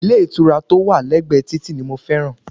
Ilé ìtura tó wà lẹ́gbẹ̀ẹ́ títì ni mo fẹ́ràn